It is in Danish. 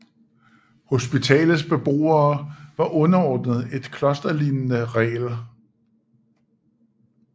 Hospitalets beboere var underordnet et klosterlignende regel